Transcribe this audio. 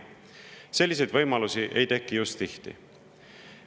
Selliseid võimalusi ei teki just tihti.